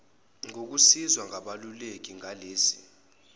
ngokusizwa ngabeluleki ngalesi